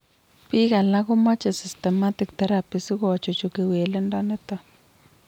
Biik alak komache systematic therapy sikochuchuch kewelindo nitok